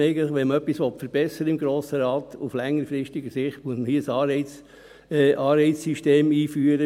Wenn man im Grossen Rat etwas verbessern will, muss man auf längerfristige Sicht ein Anreizsystem einführen.